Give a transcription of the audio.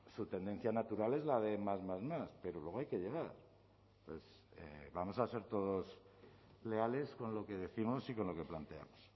su tendencia natural es la de más más más pero luego hay que llegar vamos a ser todos leales con lo que décimos y con lo que planteamos